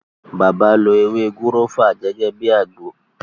Bàbá lo “ewé gúrọ́fà” gẹ́gẹ́ bíi àgbo.